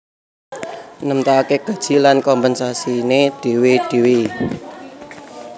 Nemtokake gaji lan kompensasiné dhéwé dhéwé